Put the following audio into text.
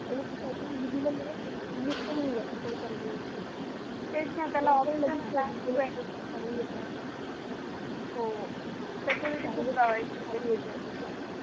आणि ती chatting delate पण होऊन जाते per per permanently तेच ना त्याला option हे ना हो security खूप provide करते snapchat